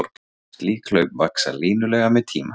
Slík hlaup vaxa línulega með tíma.